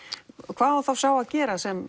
hvað á þá sá að gera sem